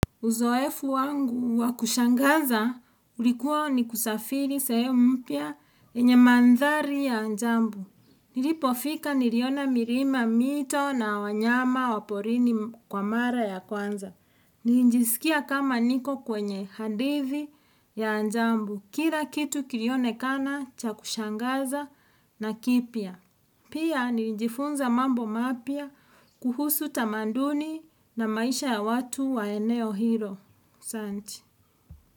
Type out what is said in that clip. Uzoefu wangu wakushangaza ulikuwa ni kusafiri sehem mpya yenye mandhari ya anjambu. Niripofika niriona mirima, mito na wanyama waporini m akwa mara ya kwanza. Nijisikia kama niko kwenye hadithi ya anjambu. Kira kitu kirione kana cha kushangaza na kipya. Pia ni nijifunza mambo mapya kuhusu tamanduni na maisha ya watu wa eneo hiro. Santi.